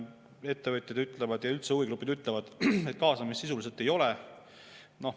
Ettevõtjad ja üldse huvigrupid ütlevad, et kaasamist sisuliselt ei ole.